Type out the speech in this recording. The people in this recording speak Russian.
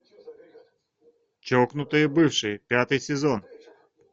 чокнутые бывшие пятый сезон